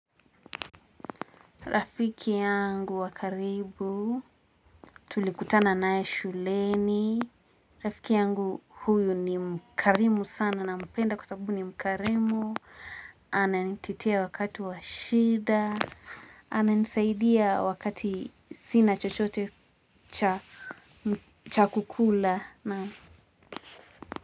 Rafiki yangu wa karibu, tulikutana nae shuleni. Rafiki yangu huyu ni mkarimu sana nampenda kwa sababu ni mkarimu. Ana nititia wakatu wa shida. Ana nisaidia wakati sina chochote cha kukula.